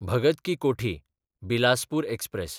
भगत की कोठी–बिलासपूर एक्सप्रॅस